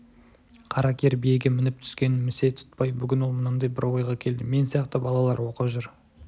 қара кер биеге мініп-түскенін місе тұтпай бүгін ол мынандай бір ойға келді мен сияқты балалар оқып жүр